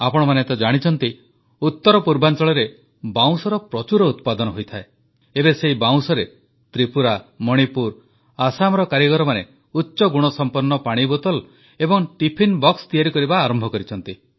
ଆପଣମାନେ ତ ଜାଣିଛନ୍ତି ଉତ୍ତର ପୂର୍ବାଂଚଳରେ ବାଉଁଶର ପ୍ରଚୁର ଉତ୍ପାଦନ ହୋଇଥାଏ ଏବେ ସେହି ବାଉଁଶରେ ତ୍ରିପୁରା ମଣିପୁର ଆସାମର କାରିଗରମାନେ ଉଚ୍ଚ ଗୁଣସମ୍ପନ୍ନ ପାଣି ବୋତଲ ଏବଂ ଟିଫିନ ବକ୍ସ ତିଆରି କରିବା ଆରମ୍ଭ କରିଛନ୍ତି